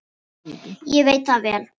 Ég veit það vel!